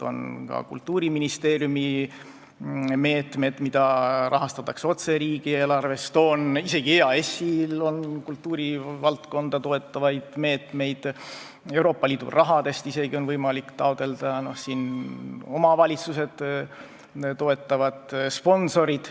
On ka Kultuuriministeeriumi meetmed, mida rahastatakse otse riigieelarvest, isegi EAS-il on kultuurivaldkonda toetavaid meetmeid, Euroopa Liidu raha on võimalik taotleda, ka omavalitsused toetavad ja sponsorid.